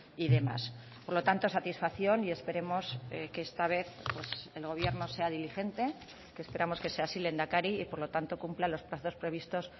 y demás por lo tanto satisfacción y esperemos que esta vez el gobierno sea diligente que esperamos que sea así lehendakari y por lo tanto cumpla los plazos previstos